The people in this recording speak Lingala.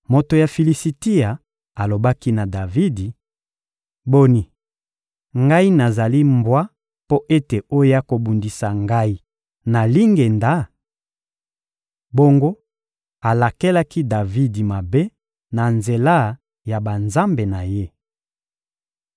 Moto ya Filisitia alobaki na Davidi: — Boni, ngai nazali mbwa mpo ete oya kobundisa ngai na lingenda? Bongo alakelaki Davidi mabe na nzela ya banzambe na ye.